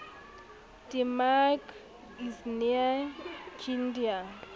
te maak is nie kinder